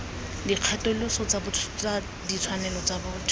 dikgatholoso tsa ditshwanelo tsa botho